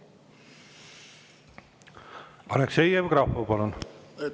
Aleksei Jevgrafov, palun!